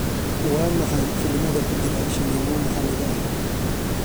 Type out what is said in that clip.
waa maxay filimada ku jira shineemo maxaliga ah